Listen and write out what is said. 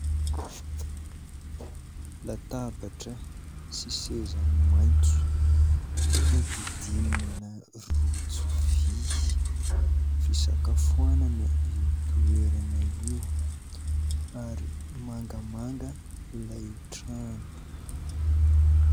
Latabatra sy seza maitso nodidinina rojo vy. Fisakafoanana io toerana io ary mangamanga ilay trano.